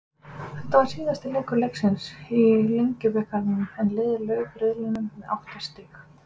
Þetta var síðasti leikur Leiknis í Lengjubikarnum en liðið lauk riðlinum með átta stig.